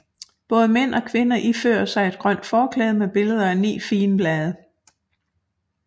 Både mænd og kvinder ifører sig et grønt forklæde med billeder af 9 figenblade